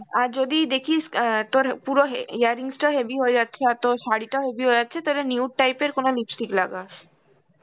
আর যদি দেখিস অ্যাঁ তোর পুরো হে~ earrings টা heavy হয়ে যাচ্ছে আর তোর শাড়িটাও heavy হয়ে যাচ্ছে তাহলে nude type এর কোন lipstick লাগাস.